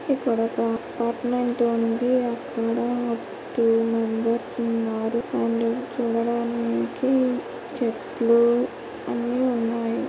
ఇక్కడొక అపార్ట్మెంట్ ఉంది.అక్కడా two members ఉన్నారు. అండ్ చూడడానికి చెట్లు అన్ని ఉన్నాయి.